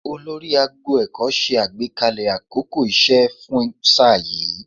Olórí agbo ẹ̀kọ́ ṣe àgbékalẹ̀ àkókò iṣẹ́ fún sáà yìí